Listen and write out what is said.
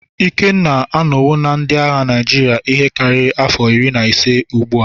Ikenna anọwo na ndị agha Naịjirịa ihe karịrị afọ iri na ise ugbu a.